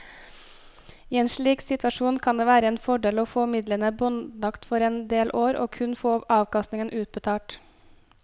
I en slik situasjon kan det være en fordel å få midlene båndlagt for en del år og kun få avkastningen utbetalt.